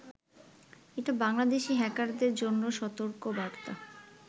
এটা বাংলাদেশি হ্যাকারদের জন্য সতর্কবার্তা